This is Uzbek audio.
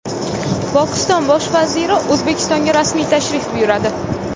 Pokiston Bosh vaziri O‘zbekistonga rasmiy tashrif buyuradi.